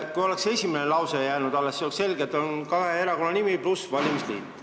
Kui oleks jäänud esimene lause, siis oleks selge, et on kahe erakonna nimi pluss "valimisliit".